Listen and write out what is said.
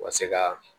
U ka se ka